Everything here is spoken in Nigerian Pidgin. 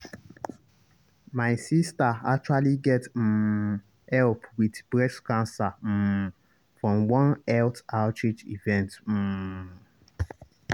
my sister actually get um help with breast cancer um from one health outreach event. um